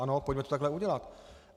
Ano, pojďme to takhle udělat.